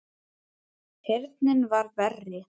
Heyrnin var verri.